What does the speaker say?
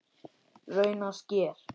Raunar sker